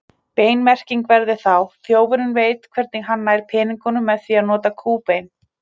Bein merking væri þá: Þjófurinn veit hvernig hann nær peningunum með því að nota kúbein.